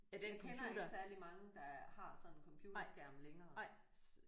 Jeg kender ikke særlig mange der har sådan en computerskærm længere